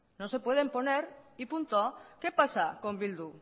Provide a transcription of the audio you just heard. no se puede poner y punto qué pasa con bildu